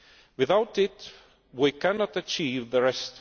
Without it, we cannot achieve the rest.